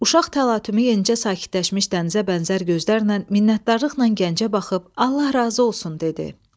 Uşaq təlatümü yenicə sakitləşmiş dənizə bənzər gözlərlə minnətdarlıqla gəncə baxıb, "Allah razı olsun" dedi.